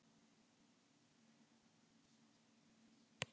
Bretar einir standa utan þess.